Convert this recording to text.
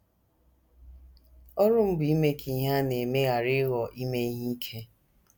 Ọrụ m bụ ime ka ihe a na - eme ghara ịghọ ime ihe ike.